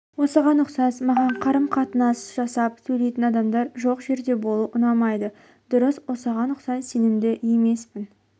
осыған ұқсас маған қарым-қатынас жасап сөйлейтін адамдар жоқ жерде болу ұнамайды дұрыс осыған ұқсас сенімді емеспін